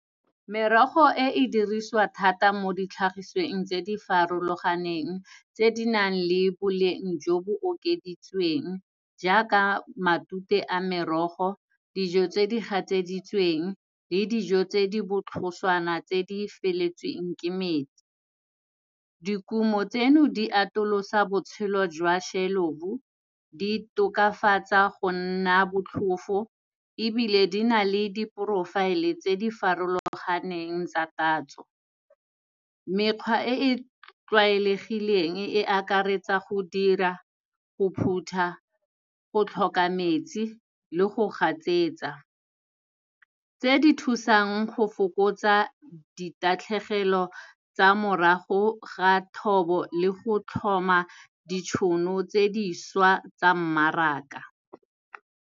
Merogo e e dirisiwa thata mo ditlhagisweng tse di farologaneng tse di nang le boleng jo bo okeditsweng jaaka matute a merogo, dijo tse di gatseditsweng le dijo tse di botlhoswana tse di feletseng ke metsi. Dikumo tseno, di atolosa botshelo jwa shelofo, di tokafatsa go nna botlhofo, ebile di na le di-profile-e tse di farologaneng tsa tatso. Mekgwa e e tlwaelegileng e akaretsa go dira, go phutha, go tlhoka metsi le go gatsetsa. Tse di thusang go fokotsa ditatlhegelo tsa morago ga thobo le go tlhoma ditšhono tse dišwa tsa mmaraka.